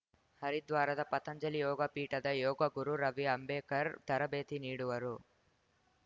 ಹರಿದ್ವಾರದ ಪತಂಜಲಿ ಯೋಗ ಪೀಠದ ಯೋಗಗುರು ರವಿ ಅಂಬೇಕರ್‌ ತರಬೇತಿ ನೀಡುವರು